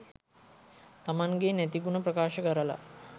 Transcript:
තමන්ගෙ නැති ගුණ ප්‍රකාශ කරලා